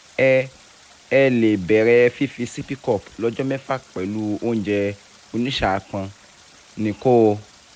ẹ ẹ lè bẹ̀rẹ̀ fífi sippy cup lọ́jọ́ mẹ́fà pẹ̀lú oúnjẹ onísàápọn ní kóò